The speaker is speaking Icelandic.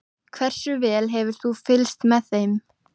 Hversu vel hefur þú fylgst með?